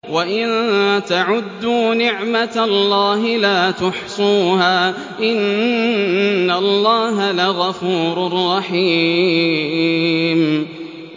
وَإِن تَعُدُّوا نِعْمَةَ اللَّهِ لَا تُحْصُوهَا ۗ إِنَّ اللَّهَ لَغَفُورٌ رَّحِيمٌ